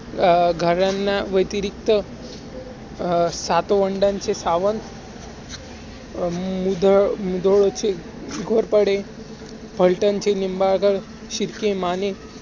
घरांना व्यतिरिक्त सातवंडाचे सावंत, मुधोळचे घोरपडे, पलटणचे निंबाळकर, शिर्के, माने